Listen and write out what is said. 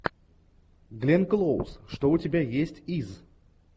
гленн клоуз что у тебя есть из